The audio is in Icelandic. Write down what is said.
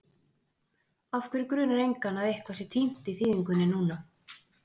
Af hverju grunar engan að eitthvað sé týnt í þýðingunni núna?